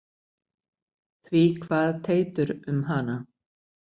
Því kvað Teitur um hana: